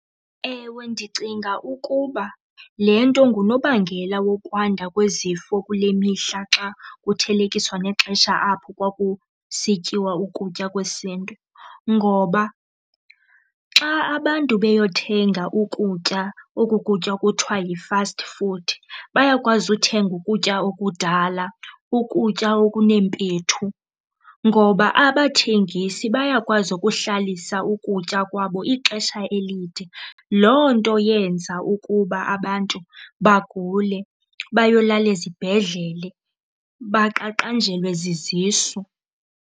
Ewe, ndicinga ukuba le nto ngunobangela wokwanda kwezifo kule mihla xa kuthelekiswa nexesha apho kwakusityiwa ukutya kwesiNtu. Ngoba xa abantu bayothenga ukutya, oku kutya ekuthiwa yi-fast food, bayakwazi uthenga ukutya okudala, ukutya okuneempethu ngoba abathengisi bayakwazi ukuhlalisa ukutya kwabo ixesha elide. Loo nto yenza ukuba abantu bagule, bayolala ezibhedlele, baqaqanjelwe zizisu.